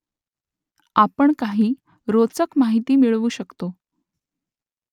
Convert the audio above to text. आपण काही रोचक माहिती मिळवू शकतो